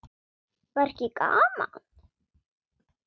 Var ekki gaman?